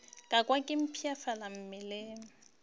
ka kwa ke mpshafala mmeleng